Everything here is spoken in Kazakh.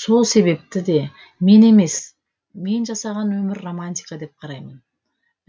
сол себепті де мен емес мен жасаған өмір романтика деп қараймын